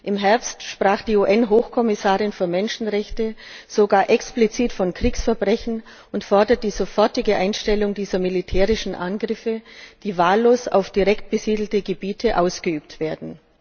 Im Herbst sprach die UN Hochkommissarin für Menschenrechte sogar explizit von Kriegsverbrechen und forderte die sofortige Einstellung dieser militärischen Angriffe, die wahllos direkt auf besiedelte Gebiete ausgeübt werden.